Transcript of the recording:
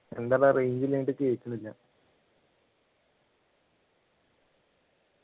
എന്താടാ range ഇല്ലാഞ്ഞിട്ടു കേൾക്കുന്നില്ല